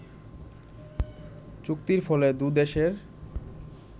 চুক্তির ফলে দুদেশের